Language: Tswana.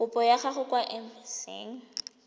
kopo ya gago kwa embasing